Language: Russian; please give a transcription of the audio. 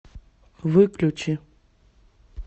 выключи